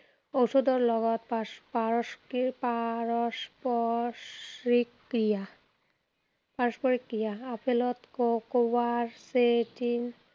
ঔষধৰ লগত পাৰ্স পাৰশ কি পাৰপশ্ৰিক ক্ৰিয়া। পাৰস্পৰিক ক্ৰিয়া। আপেলত ক কৱাচেটিন